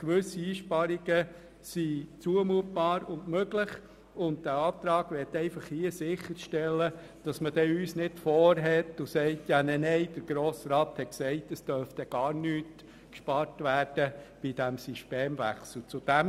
Gewisse Einsparungen sind zumutbar und möglich, und dieser Antrag möchte einfach sicherstellen, dass man uns nicht Vorhaltungen macht und sagt, der Grosse Rat habe gesagt, es dürften beim Systemwechsel keine Einsparungen vorgenommen werden.